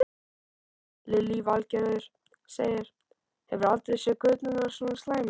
Lillý Valgerður: Hefurðu aldrei séð göturnar svona slæmar?